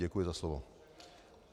Děkuji za slovo.